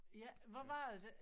Ja hvor var det